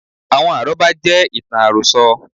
Àwọn àrọ́bá jẹ́ ìtàn àròso